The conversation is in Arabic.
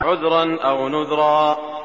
عُذْرًا أَوْ نُذْرًا